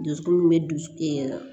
Dusukun min bɛ dusu ɛ